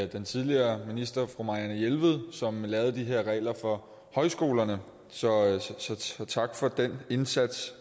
den tidligere minister fru marianne jelved som lavede de her regler for højskolerne så tak for den indsats